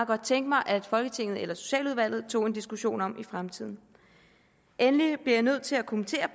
godt tænke mig at folketinget eller socialudvalget tog en diskussion om i fremtiden endelig bliver jeg nødt til at kommentere